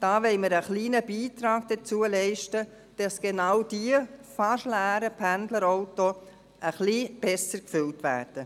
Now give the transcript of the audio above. Dort wollen wir einen kleinen Beitrag dazu leisten, dass gerade diese fast leeren Pendlerautos ein klein wenig besser gefüllt werden.